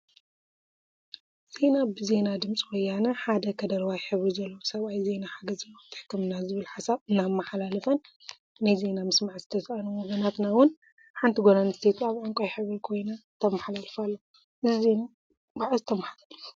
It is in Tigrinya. ዜና ብዜና ድምፂ ወያና ሓደ ከደረዋይ ሕብሪ ዘለዎ ሰብአይ ዜና ሓገዝ ናውቲ ሕክምና ዝብል ሓሳብ እናመሓላለፈን ናይ ዜና ምስማዕ ዝተሰአኖም ወገናትና እውን ሓንቲ ጓል አንስተይቲ አብ ዕንቋይ ሕብሪ ኮይና ተመሓላልፍ አላ፡፡ እዚ ዜና መዓዝ ተመሓላሊፉ?